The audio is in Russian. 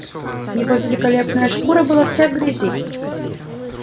его великолепная шкура была вся в грязи